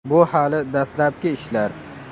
Bu hali dastlabki ishlar.